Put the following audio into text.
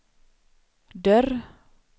dörr